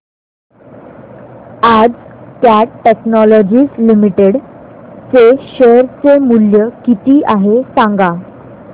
आज Cat Technologies Limited चे share चे मूल्य किती आहे सांगा